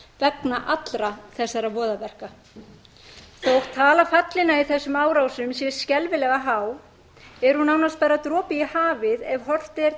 vegna allra þessara voðaverka þótt tala fallinna í þessum árásum sé skelfilega há er hún nánast bara dropi í hafið ef horft er til mannfallsins